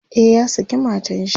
e ya saki matanshi